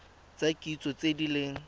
tsa kitso tse di leng